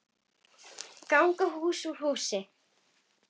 LÁRUS: Ganga hús úr húsi!